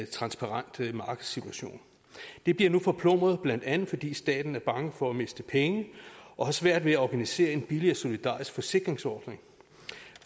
transparent markedssituation det bliver nu forplumret blandt andet fordi staten er bange for at miste penge og har svært ved at organisere en billig og solidarisk forsikringsordning